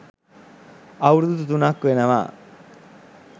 අවුරුදු තුනක් වෙනවා.